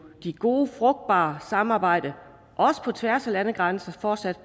gode frugtbare samarbejder også på tværs af landegrænser fortsat